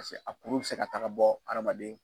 Paseke a kuru bɛ se ka taaga bɔ hadamaden.